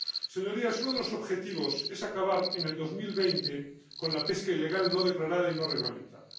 Señorías, uno de los objetivos es acabar en el 2020 con la pesca ilegal no declarada y no reglamentada.